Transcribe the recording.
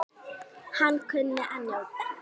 Hann kunni að njóta.